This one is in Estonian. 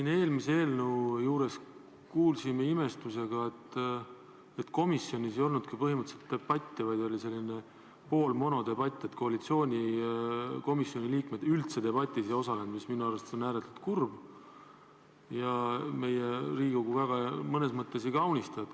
Me eelmise eelnõu arutelul kuulsime imestusega, et komisjonis ei olnudki põhimõtteliselt debatti, vaid oli selline poolmonodebatt, koalitsiooni kuuluvad komisjoni liikmed üldse debatis ei osalenud, mis minu arvates on ääretult kurb ja meie Riigikogu väga ei kaunista.